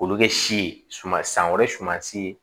K'olu kɛ si ye suman san san wɛrɛ sumansi